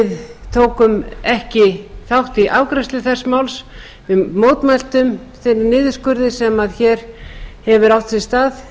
við tókum ekki þátt í afgreiðslu þess máls við mótmæltum þeim niðurskurði sem hér hefur átt sér stað